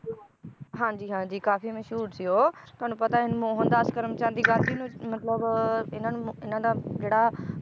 ਹਾਂਜੀ ਹਾਂਜੀ ਕਾਫੀ ਮਸ਼ਹੂਰ ਸੀ ਉਹ ਤੁਹਾਨੂੰ ਪਤਾ ਹੈ ਮੋਹਨਦਾਸ ਕਰਮਚਾਂਦੀ ਗਾਂਧੀ ਨੂੰ ਮਤਲਬ ਇਹਨਾਂ ਨੂੰ ਮ~ ਇਹਨਾਂ ਦਾ ਜਿਹੜਾ